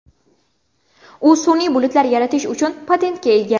U sun’iy bulutlar yaratish uchun patentga ega.